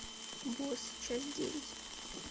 босс часть девять